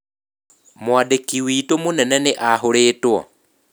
Mwandĩki witũ mũnene nĩ ahũrĩtwo.